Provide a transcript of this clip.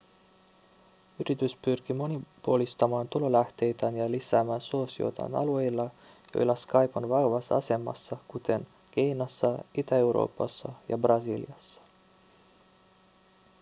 yritys pyrkii monipuolistamaan tulolähteitään ja lisäämään suosiotaan alueilla joilla skype on vahvassa asemassa kuten kiinassa itä-euroopassa ja brasiliassa